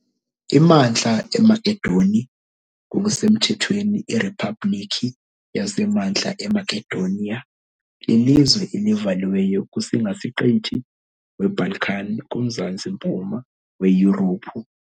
IMantla eMakedoni ngokusemthethweni iRiphabhlikhi yaseMantla eMakedoniya, lilizwe elivaliweyo kuSingasiqithi weBalkan kumzantsi-mpuma weYurophu .